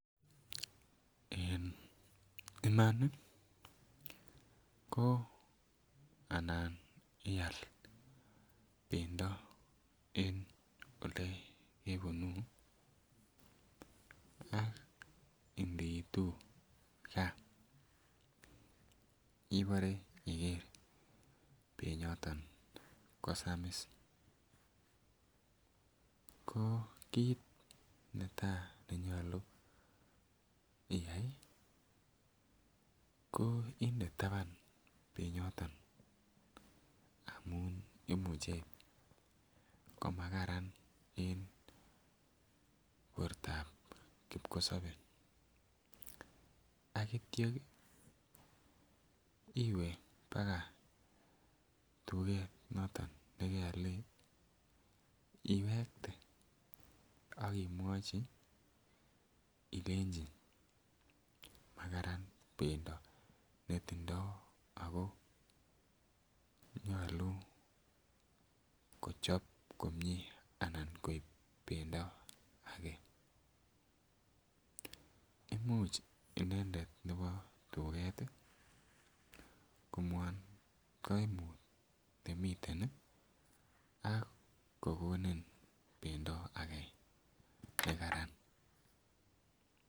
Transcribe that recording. En iman ii ko anan ial bendo en ole kebunu ak indiitu gaa ibore iger benyoton ko samis ko kit netaa nenyoluu iyay ii ko inde taban benyoton amun imuche koma Karan en bortab kipkosobee akityo iwee baka tuget be keolen iwekte ak imwochi ileji makaran bendo netindo ako nyoluu kochob komie anan koib bendo agee. Imuch inendet nebo tuget komwoun koimut nemiten ii ak kogonin bendo age nekaran